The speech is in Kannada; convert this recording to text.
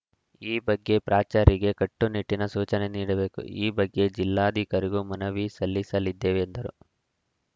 ಈ ಬಗ್ಗೆ ಪ್ರಾಚಾರ್ಯರಿಗೆ ಕಟ್ಟುನಿಟ್ಟಿನ ಸೂಚನೆ ನೀಡಬೇಕು ಈ ಬಗ್ಗೆ ಜಿಲ್ಲಾಧಿಕಾರಿಗೂ ಮನವಿ ಸಲ್ಲಿಸಲಿದ್ದೇವೆ ಎಂದರು